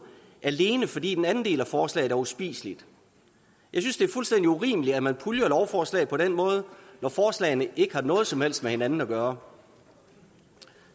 alene fordi den anden del af forslaget er uspiseligt jeg synes det er fuldstændig urimeligt at man puljer lovforslag på den måde når forslagene ikke har noget som helst med hinanden at gøre